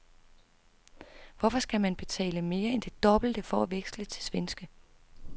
Hvorfor skal man betale mere end det dobbelte for at veksle til svenske?